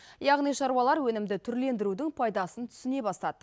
яғни шаруалар өнімді түрлендірудің пайдасын түсіне бастады